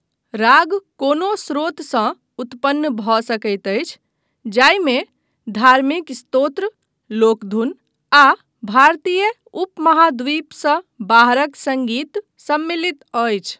राग कोनो स्रोतसँ उत्पन्न भऽ सकैत अछि, जाहिमे धार्मिक स्तोत्र, लोकधुन, आ भारतीय उपमहाद्वीपसँ बाहरक सङ्गीत सम्मिलित अछि।